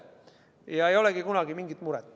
Ja ei olegi kunagi mingit muret.